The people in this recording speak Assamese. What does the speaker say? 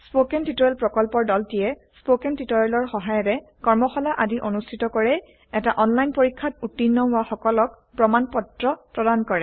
স্পৌকেন টিওটৰিয়েল প্ৰকল্পৰ দলটিয়ে স্পকেন টিওটৰিয়েলৰ সহায়েৰে কৰ্মশালা আদি অনুষ্ঠিত কৰে এটা অনলাইন পৰীক্ষাত উত্তীৰ্ণ হোৱা সকলক প্ৰমাণ পত্ৰ প্ৰদান কৰে